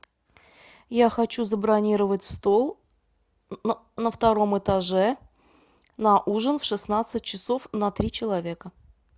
я хочу забронировать стол на втором этаже на ужин в шестнадцать часов на три человека